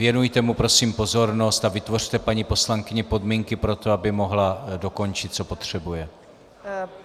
Věnujte mu prosím pozornost a vytvořte paní poslankyni podmínky pro to, aby mohla dokončit, co potřebuje.